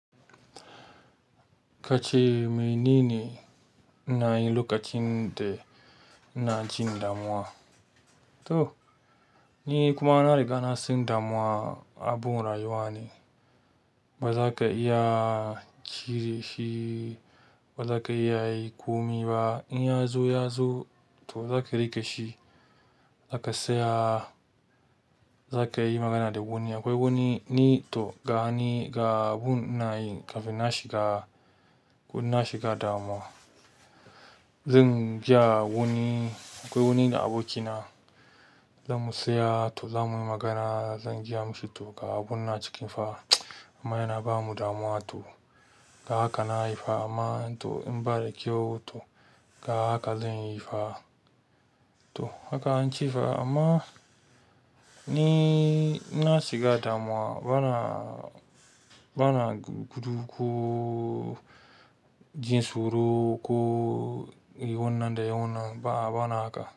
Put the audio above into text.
Kace menene ina yi lokacin da ina cikin damuwa. To ni kuma na riga na san damuwa abun rayuwani. Ba za ka iya cire shi, ba za ka iya yi kuma ba. In ya zo ya zo to za ka riƙe shi, za ka saya, za ka yi magana da wani. Akwai wani ni to ga ni ga abun ina yin kafin na shiga, ko inna shiga damuwa. Zan je a wani, akwai wani da abokina, zamu tsaya to zamuyi magana, zan jiya mishi to ga abun na cikin fa amma yana bamu damuwa to haka na yi fa amma to in ba da kyau to ga haka zan yi fa. To haka an ce fa amma ni inna shiga damuwa bana, bana gudu ko jin tsoro ko yi wannan da yi wannan ba, bana haka.